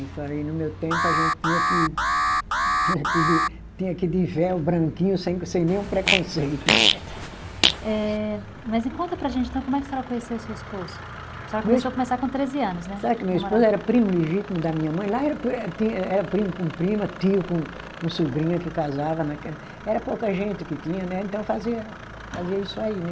Eu falei no meu tempo a gente tinha que, tinha que ir de, tinha que ir de véu branquinho sem, sem nenhum preconceito, né? Eh, mas conta para a gente então como é que a senhora conheceu o seu esposo, a senhora começou a conversar com treze anos, né? Sabe que meu esposo era primo legítimo da minha mãe, lá era pri, eh tinha, eh, era primo com prima, tio com com sobrinha que casava naquela, era pouca gente que tinha, né, então fazia, fazia isso aí né